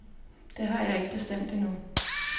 Det har jeg ikke bestemt endnu.